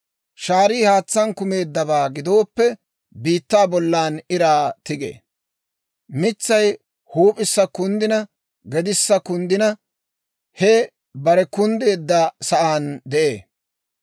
Shaarii haatsaan kumeeddabaa gidooppe, biittaa bollan iraa tigee. Mitsay huup'issa kunddina gedissa kunddina, he bare kunddeedda sa'aan de'ee.